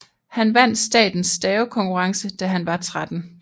Han vandt statens stavekonkurrence da han var 13